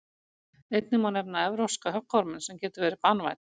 einnig má nefna evrópska höggorminn sem getur verið banvænn